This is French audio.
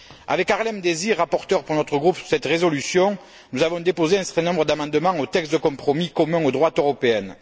Avec Harlem Désir, rapporteur pour notre groupe sur cette résolution, nous avons déposé un certain nombre d'amendements au texte de compromis commun aux droites européennes.